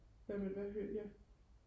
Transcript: hvad med hvad hører ja